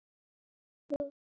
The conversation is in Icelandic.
Allt of stuttur tími samt.